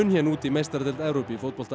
út í meistaradeild Evrópu í fótbolta